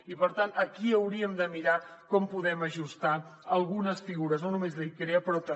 i per tant aquí hauríem de mirar com podem ajustar algunes figures no només de l’icrea però també